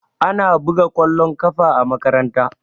Ana buga kwallon ƙafa a makaranta